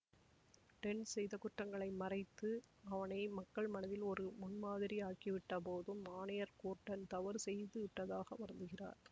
tent செய்த குற்றங்களை மறைத்து அவனை மக்கள் மனதில் ஒரு முன்மாதிரி ஆக்கிவிட்ட போதும் ஆணையர் கோர்டன் தவறு செய்து விட்டதாக வருந்துகிறார்